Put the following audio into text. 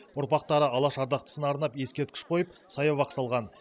ұрпақтары алаш ардақтысына арнап ескерткіш қойып саябақ салған